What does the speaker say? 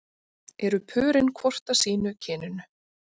eru pörin hvort af sínu kyninu